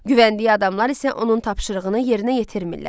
Güvəndiyi adamlar isə onun tapşırığını yerinə yetirmirlər.